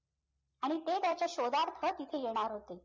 आणि ते त्याच्या शोधात परत इथे येणार होते